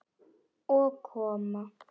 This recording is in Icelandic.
Og koma